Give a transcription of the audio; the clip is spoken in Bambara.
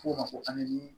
F'o ma ko